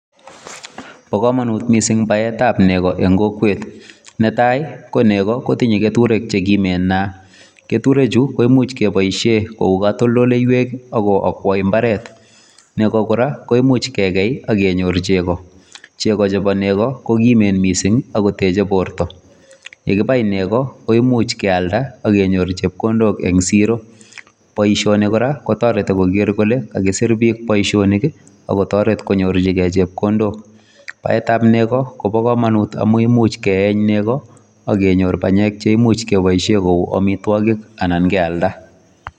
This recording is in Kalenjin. Bo kamanut missing baet ab nekoo en kokwet netai ii ko nekoo kotinyei ketureek che kimeen ketureek chuu ko koimuuch kebaisheen ko katoltoleiweek ako akwai mbaret neko kora koimuuch kegei ak kenyoor chego chego chebo nekoo ko kimeen missing akooot techei borto, ye kibai neko akenyoor chepkondook en siro, boisioni kora kotaretii koger kole kagisir biik boisionik ako taretet konyorjingei chepkondook, baet ab negoi kobaa kamanut amuun imuuch keeeny nekoo ak kenyoor panyeek cheimuuch kebaisheen ko amitwagiik anan keyaldaa.